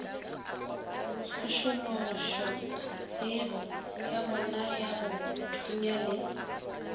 tsošološatsebo ya bonayago thunya le